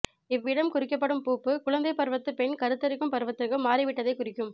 இவ்விடம் குறிக்கப்படும் பூப்பு குழந்தைப் பருவத்து பெண் கருத்தரிக்கும் பருவத்திற்கு மாறிவிட்டதைக் குறிக்கும்